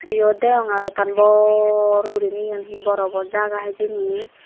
yot degonge ole ekkan bor gurine yen hee borobo jaga hijeni.